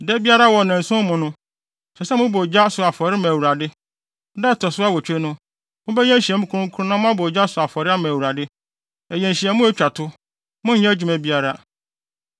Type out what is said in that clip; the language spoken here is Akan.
Da biara wɔ nnanson no mu no, ɛsɛ sɛ mobɔ ogya so afɔre ma Awurade. Da a ɛto so awotwe no, mobɛyɛ nhyiamu kronkron na moabɔ ogya so afɔre ama Awurade. Ɛyɛ nhyiamu a etwa to. Monnyɛ adwuma biara.